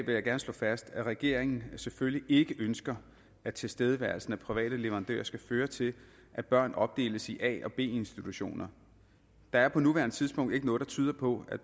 jeg gerne slå fast at regeringen selvfølgelig ikke ønsker at tilstedeværelsen af private leverandører skal føre til at børn opdeles i a og b institutioner der er på nuværende tidspunkt ikke noget der tyder på at